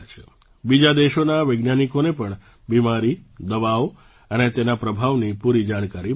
બીજા દેશોના વૈજ્ઞાનિકોને પણ બીમારી દવાઓ અને તેના પ્રભાવની પૂરી જાણકારી મળશે